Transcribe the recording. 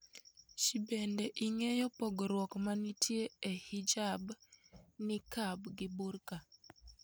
Jbende ing'eyo pogruok ma nitie e Hijab, Niqab gi Burka?